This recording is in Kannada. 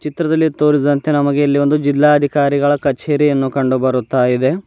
ಚಿತ್ರದಲ್ಲಿ ತೋರಿಸಿದಂತೆ ನಮಗೆ ಇಲ್ಲಿ ಒಂದು ಜಿಲ್ಲಾಧಿಕಾರಿಗಳ ಕಚೇರಿಯನ್ನು ಕಂಡು ಬರ್ತಾ ಇದೆ.